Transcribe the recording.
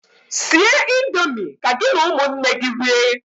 Sie indomi ka gị na ụmụnne gị rie!